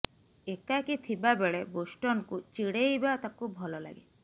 ଏକାକୀ ଥିବା ବେଳେ ବୋଷ୍ଟନକୁ ଚିଡେଇବା ତାକୁ ଭଲ ଲାଗେ